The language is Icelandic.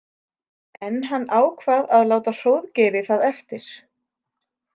En hann ákvað að láta Hróðgeiri það eftir.